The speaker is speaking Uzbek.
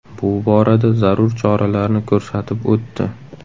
Bu borada zarur choralarni ko‘rsatib o‘tdi.